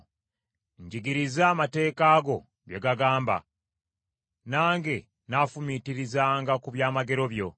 Njigiriza amateeka go bye gagamba, nange nnaafumiitirizanga ku byamagero byo.